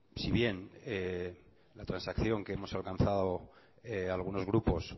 si bien la transacción que hemos alcanzado algunos grupos